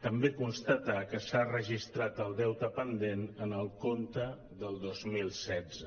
també constatar que s’ha registrat el deute pendent en el compte del dos mil setze